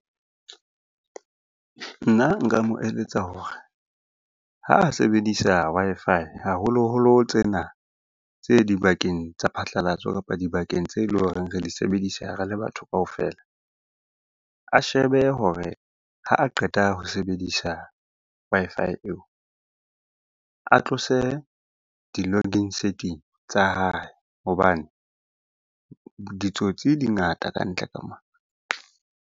Nna nka mo eletsa hore ha a sebedisa Wi-Fi haholoholo tsena tse dibakeng tsa phatlalatso, kapa dibakeng tse leng hore re di sebedisa re le batho kaofela. A shebe hore ha a qeta ho sebedisa Wi-Fi eo, a tlose di-logging setting tsa hae hobane ditsotsi di ngata ka ntle ka mona.